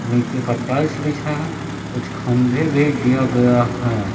नीचे प टाइल्स बिछा है कुछ खंभे भी दिया गया है।